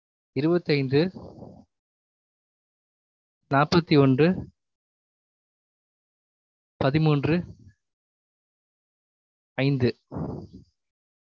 இருவத்தைந்து நாப்பத்தியொன்று பதிமூன்று ஐந்து